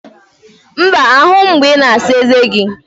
Mba, ahụghị m mgbe ị na-asa eze gị